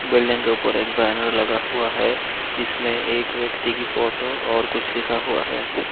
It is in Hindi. बिल्डिंग के ऊपर एक बैनर लगा हुआ है इसमें एक व्यक्ति की फोटो और कुछ लिखा हुआ है।